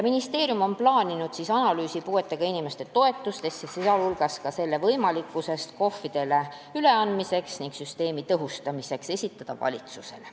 Ministeerium on plaaninud esitada valitsusele analüüsi puuetega inimeste toetuste süsteemi tõhustamise, sh selle KOV-idele üleandmise võimalikkuse kohta.